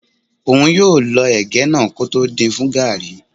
Óun yóò lọ ẹ̀gẹ́ náà kótó din fún gàrrí.